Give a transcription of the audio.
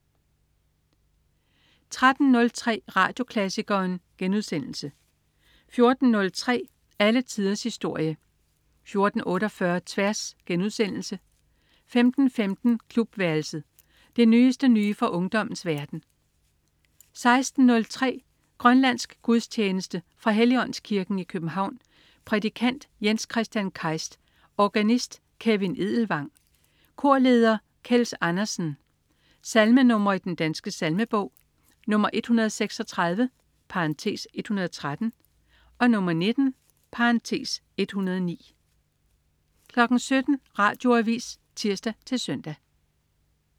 13.03 Radioklassikeren* 14.03 Alle tiders historie 14.48 Tværs* 15.15 Klubværelset. Det nyeste nye fra ungdommens verden 16.03 Grønlandsk gudstjeneste. Fra Helligåndskirken, København. Prædikant: Jens Kristian Keist. Organist: Kevin Edelvang. Korleder: Kels Andersen. Salmenr. i Den Danske Salmebog: 136 (113), 19 (109) 17.00 Radioavis (tirs-søn)